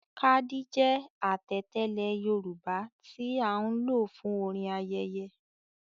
“Kádí” jẹ́ àtẹ̀tẹ́lẹ̀ Yorùbá tí a ń lò fún orin ayẹyẹ.